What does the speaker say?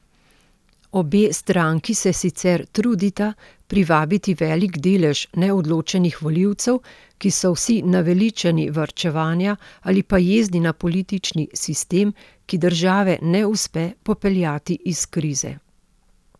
Obe stranki se sicer trudita privabiti velik delež neodločenih volivcev, ki so vsi naveličani varčevanja ali pa jezni na politični sistem, ki države ne uspe popeljati iz krize.